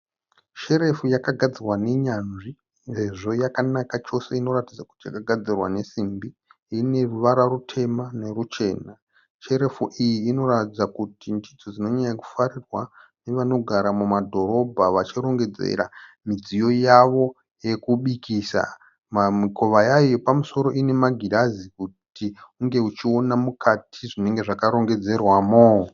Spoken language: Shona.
Sherefu yakagadzirwa nenyanzvi sezvo yakanaka chose inoratidza kuti yakagadzirwa nesimbi. Ine ruvara rutema neruchena. Sherefu iyi inoratidza kuti ndidzo dzinonyanya kufarirwa nevanogara mumadhorobha vachirongedzera midziyo yavo yekubikisa. Mikova yayo yepamusoro ine magirazi kuti unge uchiona mukati zvinenge zvakarongedzerwamo.